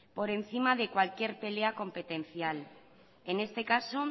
por encima de cualquier pelea competencial en este caso